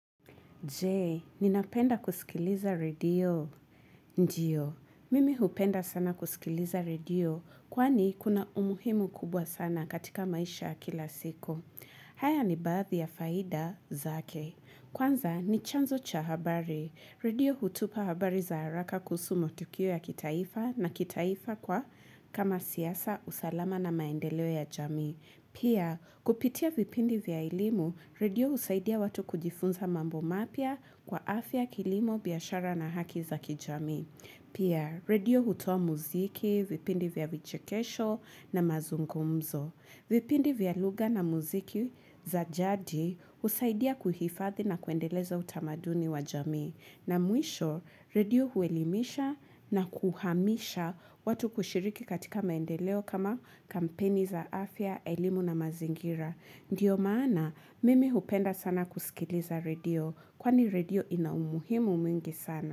Je, ninapenda kusikiliza radio. Ndio, mimi hupenda sana kusikiliza radio kwani ikuna umuhimu kubwa sana katika maisha kila siku. Haya ni bathi ya faida zake. Kwanza, ni chanzo cha habari. Radio hutupa habari za haraka kusumo tukio ya kitaifa na kitaifa kwa kama siyasa usalama na maendeleo ya jamii. Pia, kupitia vipindi vya ilimu, radio usaidia watu kujifunza mambo mapia kwa afya kilimo biashara na haki za kijamii. Pia, radio hutua muziki, vipindi vya vichikesho na mazungumzo. Vipindi vya lugha na muziki za jadi husaidia kuhifathi na kuendeleza utamaduni wa jami. Na mwisho, radio huelimisha na kuhamisha watu kushiriki katika maendeleo kama kampeni za afya, elimu na mazingira. Ndiyo maana, mimi hupenda sana kusikiliza radio, kwani radio inaumuhimu mwingi sana.